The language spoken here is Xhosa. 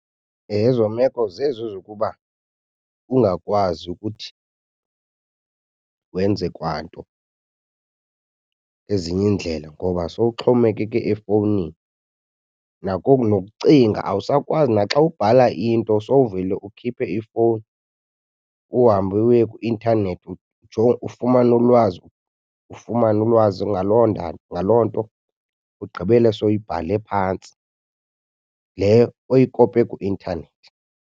Ezo meko zezi zokuba ungakwazi ukuthi wenze kwanto ngezinye iindlela ngoba sowuxhomekeke efowunini. Nokucinga awusakwazi naxa ubhala into sowuvele ukhiphe ifowuni uhambe uye kwi-intanethi ufumane ulwazi, ufumane ulwazi ngaloo ngaloo nto, ugqibele sowuyibhale phantsi le oyikope kwi-intanethi.